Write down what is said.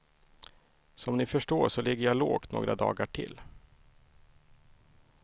Som ni förstår så ligger jag lågt några dagar till.